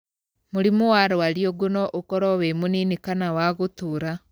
Mũrimũ wa rwariũngũ no ũkorwo wĩ mũnini kana wa gũtũũra.